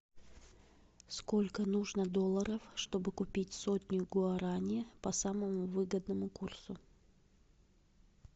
сколько нужно долларов чтобы купить сотню гуарани по самому выгодному курсу